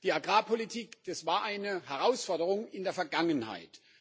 Die Agrarpolitik war eine Herausforderung in der Vergangenheit.